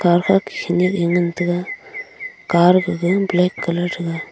akha ke khenyak e ngan tega car gaga black colour thega.